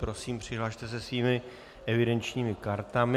Prosím, přihlaste se svými evidenčními kartami.